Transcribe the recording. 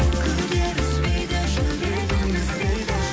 күдер үзбейді жүрегім іздейді